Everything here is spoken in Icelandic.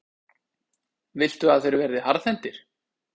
Viltu að þeir verði harðhentir?